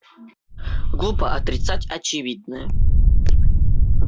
глупо отрицать очевидное